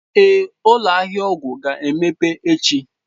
Ee, ụlọ ahịa ọgwụ ga-emeghe echi